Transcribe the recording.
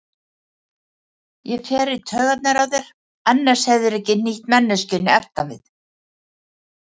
Ég fer í taugarnar á þér, annars hefðirðu ekki hnýtt manneskjunni aftan við.